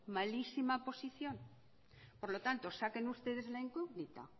malísima posición por lo tanto saquen ustedes la incógnita